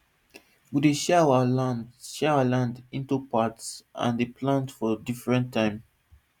we dey share our lands share our lands into parts and dey plant for different time